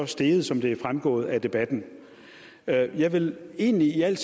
steget som det er fremgået af debatten jeg jeg vil egentlig i al